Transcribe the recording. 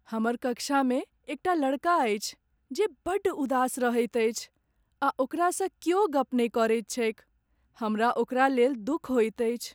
हमर कक्षामे एकटा लड़का अछि जे बड़ उदास रहैत अछि आ ओकरासँ क्यौ गप नहि करैत छैक। हमरा ओकरालेल दुख होइत अछि।